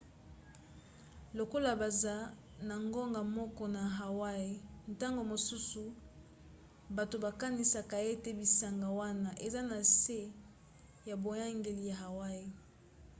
lokola baza na ngonga moko na hawaii ntango mosusu bato bakanisaka ete bisanga wana eza na se ya boyangeli ya hawaii